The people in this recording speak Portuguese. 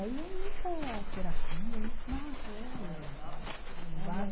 Aí entra terapia e nossa eh.